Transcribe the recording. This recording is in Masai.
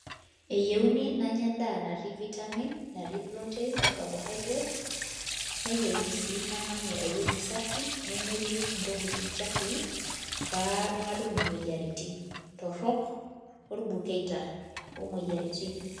Eyieuni nanya endaa natii vitamins naatii proteins o carbohydrates neyiuni sii namanya ewueji safi nemetii ntokitin chafui pee matum imoyiaritin torrok orbukeita imoyiaritin